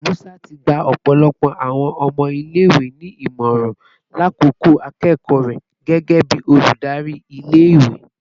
Musa ti gba ọpọlọpọ awọn ọmọ ile-iwe ni imọran lakoko akoko rẹ gẹgẹbi oludari ile-iwe